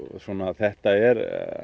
þetta er